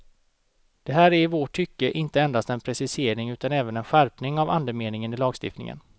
Det här är i vårt tycke inte endast en precisering utan även en skärpning av andemeningen i lagstiftningen.